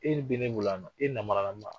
E bɛ ne bolo yan nɔ, e nabaralama.